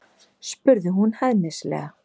spurði hún hæðnislega.